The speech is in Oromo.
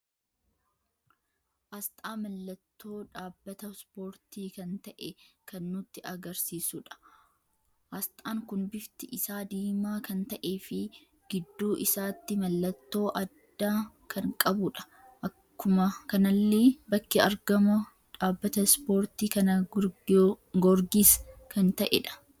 Asxaa mallattoo dhaabbata spoorti kan ta'e kan nutti agarsiisudha. asxaan kun bifti isaa diimaa kan ta'eefi gidduu isaatti mallattoo adda kan qabudha. Akkuma kanallee bakki argaama dhaabbata spoortii kana goorgisii kan ta'edha.